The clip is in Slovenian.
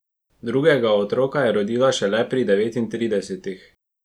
Drugega otroka je rodila šele pri devetintridesetih.